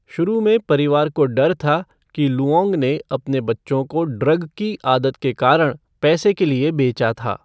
शुरू में परिवार को डर था कि लुओंग ने अपने बच्चों को ड्रग की आदत के कारण पैसे के लिए बेचा था।